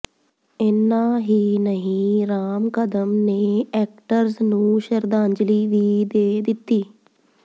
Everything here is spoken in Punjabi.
ਇੰਨਾ ਹੀ ਨਹੀਂ ਰਾਮ ਕਦਮ ਨੇ ਐਕਟਰਸ ਨੂੰ ਸ਼ਰਧਾਂਜਲੀ ਵੀ ਦੇ ਦਿੱਤੀ